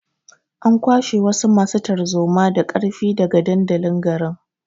An kwashe wasu masu tarzoma da ƙarfi daga dandalin garin.